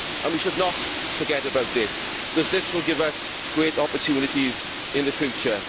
We should not forget about it, because this will give us great opportunities in the future.